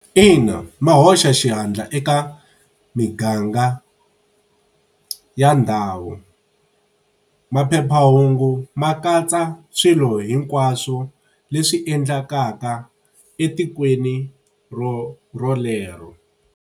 Ina ma hoxa xihatla eka miganga ya ndhawu. Maphephahungu ma katsa swilo hinkwaswo leswi endlekaka etikweni rolero.